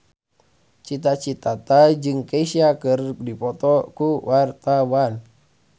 Cita Citata jeung Kesha keur dipoto ku wartawan